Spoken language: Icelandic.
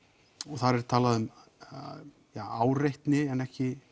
þar er talað um áreitni en ekki